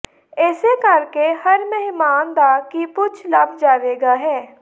ਇਸੇ ਕਰਕੇ ਹਰ ਮਹਿਮਾਨ ਦਾ ਕੀ ਪੁਚ ਲੱਭ ਜਾਵੇਗਾ ਹੈ